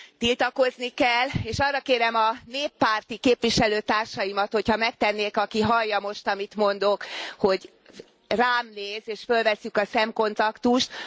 Tiltakozni kell, és arra kérem a néppárti képviselőtársaimat, hogy ha megtennék, aki hallja most, amit mondok, hogy rám néz, és fölvesszük a szemkontaktust.